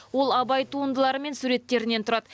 ол абай туындылары мен суреттерінен тұрады